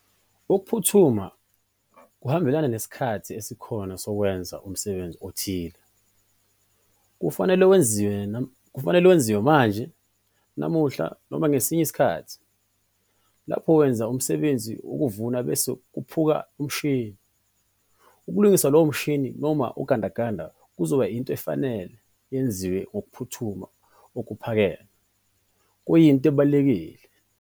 Ukuphuthuma kuhambelana nesikhathi esikhona sokwenza umsebenzi othile - kufanele wenziwe manje - namuhla noma ngesinye isikhathi. Lapho wenza umsebenzi wokuvuna bese kuphuka umshini, ukulungisa lowo mshini noma ugandaganda kuzoba into efanele yenziwe ngokuphuthuma okuphakeme - kuyinto ebalulekile.